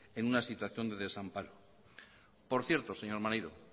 en situación de desamparo por cierto señor maneiro